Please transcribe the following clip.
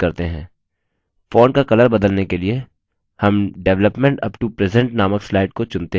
font का color बदलने के लिए हम development up to present नामक slide को चुनते हैं